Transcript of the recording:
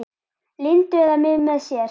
Lindu eða mig með sér.